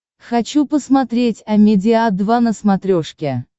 хочу посмотреть амедиа два на смотрешке